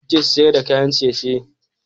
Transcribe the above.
Nawa kuke sayar da kayan ciye-ciye?